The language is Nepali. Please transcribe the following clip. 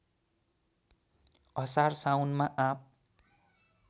असार साउनमा आँप